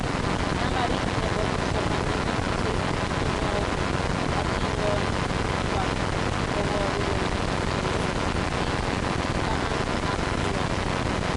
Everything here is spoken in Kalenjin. Nambarit ne bo kipsomaninik che kiyooku atindonik kwak koboruu kole kii taman ak lok .